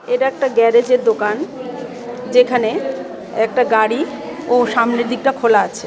এটা একটা গ্যারেজ এর দোকান যেখানে একটা গাড়ি ও সামনের দিকটা খোলা আছে।